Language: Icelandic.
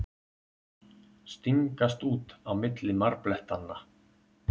Stingast út á milli marblettanna.